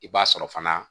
I b'a sɔrɔ fana